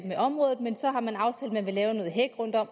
i området men så har man aftalt at man vil lave noget hæk rundt om